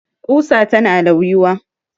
Ƙusa tana lauyuwa